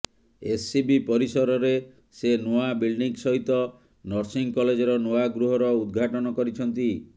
SCB ପରିସରରେ ସେ ନୂଆ ବିଲ୍ଡିଂ ସହିତ ନର୍ସିଂ କଲେଜର ନୂଆ ଗୃହର ଉଦଘାଟନ କରିଛନ୍ତି